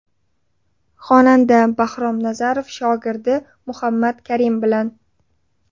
Xonanda Bahrom Nazarov shogirdi Muhammad Karim bilan.